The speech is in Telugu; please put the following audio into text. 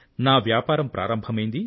నా వ్యాపారం ప్రారంభమైంది